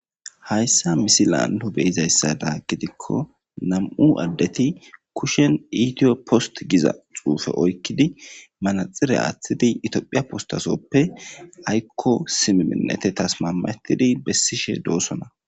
Hayssa misi laando beyizayssada gidikko nam7u addeti kushen iitiyo post giza xuufe oykkidi manaxire aaththidi itiophiya postasoppe aykko simi minete tasmametidi bessishe doossona.